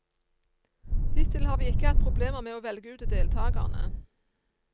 Hittil har vi ikke hatt problemer med å velge ut deltagerne.